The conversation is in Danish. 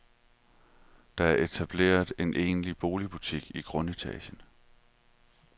Der er etableret en egentlig boligbutik i grundetagen.